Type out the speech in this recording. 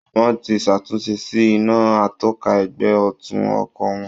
Wọ́n ti ṣàtúnṣe sí iná atọ́ka ẹ̀gbẹ́ ọ̀tún ọkọ̀ wọn